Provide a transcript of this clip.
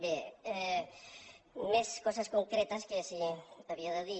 bé més coses concretes que havia de dir